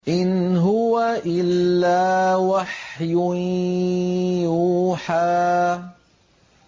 إِنْ هُوَ إِلَّا وَحْيٌ يُوحَىٰ